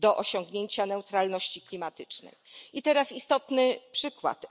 I teraz istotny przykład.